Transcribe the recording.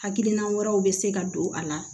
Hakilina wɛrɛw bɛ se ka don a la